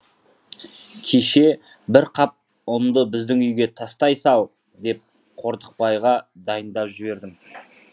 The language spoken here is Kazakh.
кеше бір қап ұнды біздің үйге тастай сал деп қортықбайға дайындап жібердім